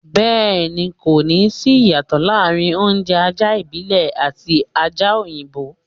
Bẹ́ẹ̀ ni, kò ní sí ìyàtọ̀ láàrin oúnjẹ ajá ìbílẹ̀ àti ajá òyinbọ́.